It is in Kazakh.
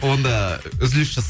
онда үзіліс